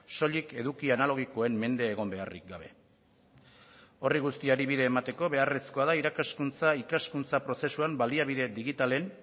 soilik eduki analogikoen mende egon beharrik gabe horri guztiari bide emateko beharrezkoa da irakaskuntza ikaskuntza prozesuan baliabide digitalen